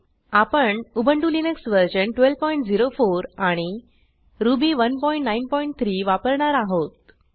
आपण Ubuntu Linux version 1204 आणि Ruby 193 वापरणार आहोत